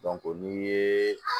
n'i ye